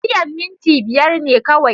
Tafiyan minti biyar ne kawai.